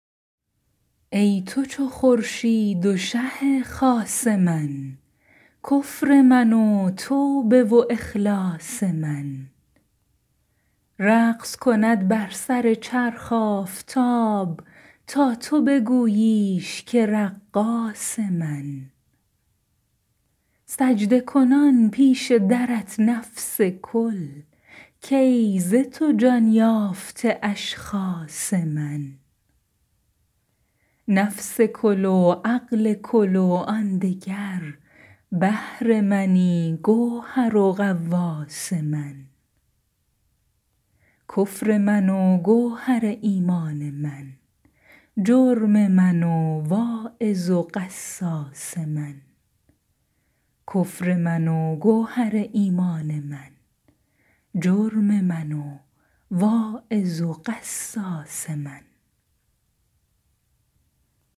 ای تو چو خورشید و شه خاص من کفر من و توبه و اخلاص من رقص کند بر سر چرخ آفتاب تا تو بگوییش که رقاص من سجده کنان پیش درت نفس کل کای ز تو جان یافته اشخاص من نفس کل و عقل کل و آن دگر بحر منی گوهر و غواص من کفر من و گوهر ایمان من جرم من و واعظ و قصاص من